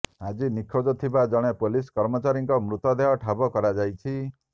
ଆଜି ନିଖୋଜ ଥିବା ଜଣେ ପୋଲିସ୍ କର୍ମଚାରୀଙ୍କ ମୃତଦେହ ଠାବ କରାଯାଇଥିଛି